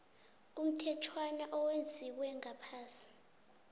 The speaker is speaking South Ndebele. umthetjhwana owenziwe ngaphasi